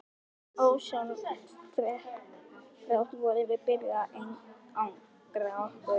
Ósjálfrátt vorum við byrjuð að einangra okkur.